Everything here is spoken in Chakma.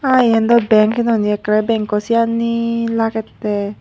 Ah eyan dow bank noney ekkere banko siyanne lagette.